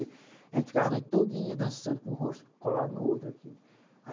A gente ficava a noite todinha dançando, com o rosto colado no outro assim